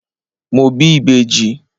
Mo bí ìbejì.